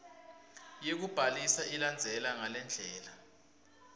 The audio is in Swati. yekubhalisa ilandzela ngalendlela